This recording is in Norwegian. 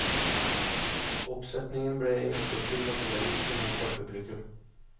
Oppsetningen ble imidlertid tatt vel imot av publikum.